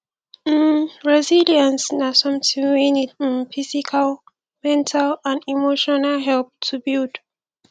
um resilience na somthing wey need um physical mental and emotional help to build